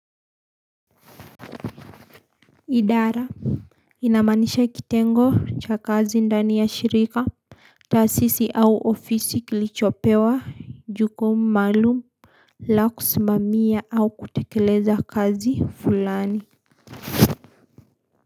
Idara inaamanisha kitengo cha kazi ndani ya shirika taasisi au ofisi kilichopewa jukumu maalum la kusimamia au kutekeleza kazi fulani.